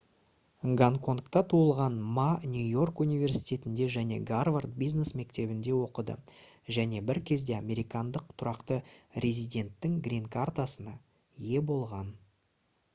гонконгта туылған ма нью-йорк университетінде және гарвард бизнес мектебінде оқыды және бір кезде американдық тұрақты резиденттің «гринкартасына» ие болған